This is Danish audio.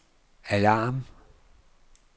alarm